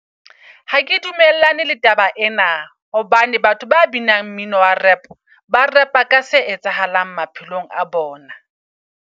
Ha ke dumellane le taba ena. Hobane batho ba binang mmino wa -rap ba rap-a ka se etsahalang maphelong a bona.